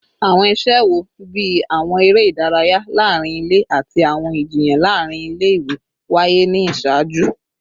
Awọn iṣẹ wo, bii awọn ere idaraya laarin ile ati awọn ijiyan laarin ile-iwe, waye ni iṣaaju?